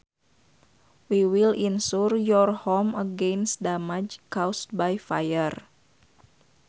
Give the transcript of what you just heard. We will insure your home against damage caused by fire